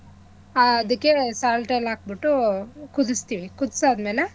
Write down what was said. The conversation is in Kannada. ಆದಿಕ್ಕೆ salt ಎಲ್ಲಾ ಹಾಕ್ಬಿಟ್ಟು ಕುದಸ್ತಿವಿ ಕುದ್ಸಾದ್ಮೇಲೆ